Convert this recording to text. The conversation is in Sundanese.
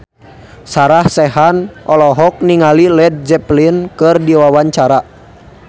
Sarah Sechan olohok ningali Led Zeppelin keur diwawancara